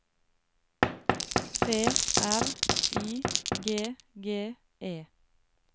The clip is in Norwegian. T R Y G G E